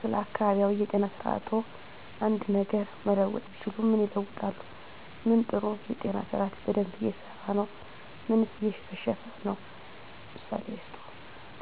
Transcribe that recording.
ስለ አካባቢያዊ የጤና ስርዓትዎ አንድ ነገር መለወጥ ቢችሉ ምን ይለውጣሉ? ምን ጥሩ የጤና ስርአት በደንብ እየሰራ ነው ምንስ እየከሸፈ ነው? ምሳሌ ይስጡ።